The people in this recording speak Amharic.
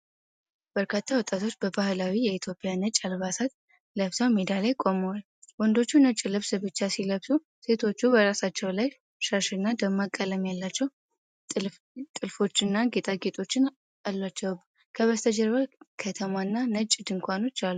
በርካታ ወጣቶች በባህላዊ የኢትዮጵያ ነጭ አልባሳት ለብሰው ሜዳ ላይ ቆመዋል። ወንዶቹ ነጭ ልብስ ብቻ ሲለብሱ፣ ሴቶቹ በራሳቸው ላይ ሻሽና ደማቅ ቀለም ያላቸው ጥልፎችና ጌጣጌጦች አሏቸው። ከበስተጀርባ ከተማና ነጭ ድንኳኖች አሉ።